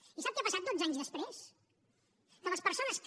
i sap què ha passat dotze anys després que les persones que